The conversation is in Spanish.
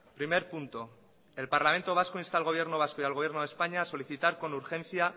primer punto el parlamento vasco insta al gobierno vasco y al gobierno de españa solicitar con urgencia